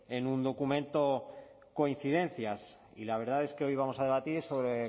en un documento coincidencias y la verdad es que hoy vamos a debatir sobre